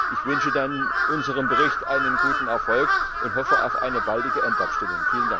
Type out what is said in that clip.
Ich wünsche unserem Bericht einen guten Erfolg und hoffe auf eine baldige Endabstimmung.